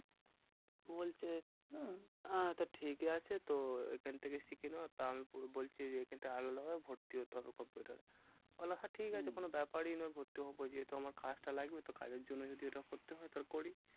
বলছে হ্যাঁ আহ তো ঠিকই আছে তো এখন থেকে শিখে নাও। তারপর বলছে যে এটা আলাদা ভর্তি হতে বললাম হম হ্যাঁ ঠিকাছে? কোনো ব্যাপারই নয় ভর্তি হবো। যেহেতু আমার কাজটা লাগবে তো কাজের জন্য যদি ওটা করতে হয় তাহলে করি।